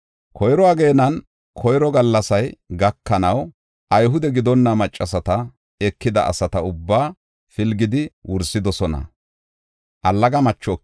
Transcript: Koyro ageenan koyro gallasay gakanaw, Ayhude gidonna maccasata ekida asata ubbaa pilgidi wursidosona.